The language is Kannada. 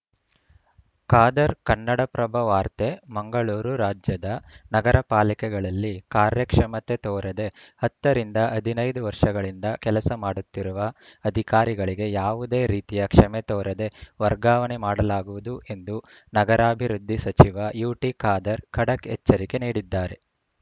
ಖಾದರ್‌ ಕನ್ನಡಪ್ರಭ ವಾರ್ತೆ ಮಂಗಳೂರು ರಾಜ್ಯದ ನಗರ ಪಾಲಿಕೆಗಳಲ್ಲಿ ಕಾರ್ಯಕ್ಷಮತೆ ತೋರದೆ ಹತ್ತರಿಂದ ಹದಿನೈದು ವರ್ಷಗಳಿಂದ ಕೆಲಸ ಮಾಡುತ್ತಿರುವ ಅಧಿಕಾರಿಗಳಿಗೆ ಯಾವುದೇ ರೀತಿಯ ಕ್ಷಮೆ ತೋರದೆ ವರ್ಗಾವಣೆ ಮಾಡಲಾಗುವುದು ಎಂದು ನಗರಾಭಿವೃದ್ಧಿ ಸಚಿವ ಯುಟಿ ಖಾದರ್‌ ಖಡಕ್‌ ಎಚ್ಚರಿಕೆ ನೀಡಿದ್ದಾರೆ